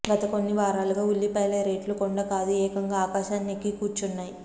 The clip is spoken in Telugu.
గత కొన్ని వారాలుగా ఉల్లిపాయల రెట్లు కొండ కాదు ఏకంగా ఆకాశాన్ని ఎక్కి కూర్చున్నాయి